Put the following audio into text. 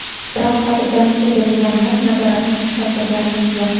Biroq xotirjamlikka berilganimiz, nazoratni susaytirganimiz yo‘q.